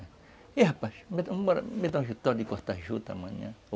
E aí, rapaz, me dão a vitória de cortar juta amanhã.